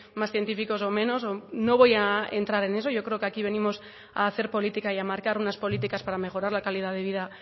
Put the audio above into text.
más científicos o menos no voy a entrar en eso yo creo que aquí venimos a hacer política y a marcar unas políticas para mejorar la calidad de vida